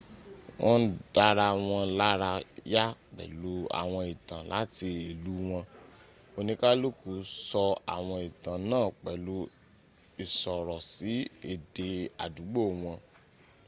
wọ́n ń dára wọn lára yá pẹ̀lú àwọn ìtàn láti ìlú wọn; oníkàlùkù sọ àwọn ìtàn náà pẹ̀lú ìsọ̀rọ̀sì èdè àdúgbò wọn